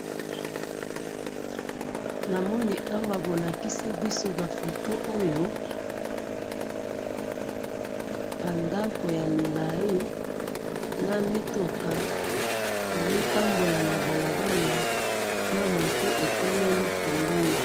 Namoni awa bolakisi biso, bafoto oyo, bandako yamilayi, namituka ezo tambola nabalabala, na moto etelemi pembeni.